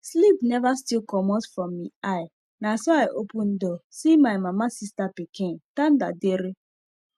sleep neva still comot from mi eye naso i open door see my mama sista pinkin tanda dere